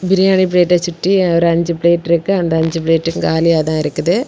பிரியாணி பிளேட்டை சுற்றி ஒரு அஞ்சு பிளேட் இருக்கு. அந்த அஞ்சு பிளேட்டும் காலியா தான் இருக்குது.